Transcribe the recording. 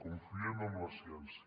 confiem en la ciència